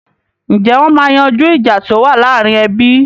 Ǹjẹ́ wọn máa yanjú ìjà tí ó wà láàrin ẹbí?